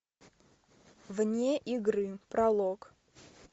вне игры пролог